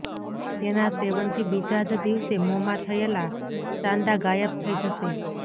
તેના સેવનથી બીજા જ દિવસે મોંમાં થયેલા ચાંદા ગાયબ થઇ જશે